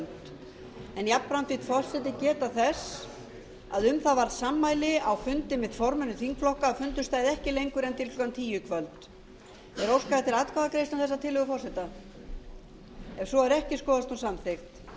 kvöld en jafnframt vill forseti geta þess að um það varð sammæli á fundi með formönnum þingflokka að fundur stæði ekki lengur en til klukkan tíu í